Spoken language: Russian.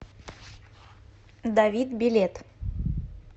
давид билет